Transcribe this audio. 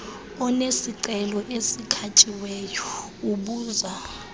onesicelo esikhatyiweyo ubuza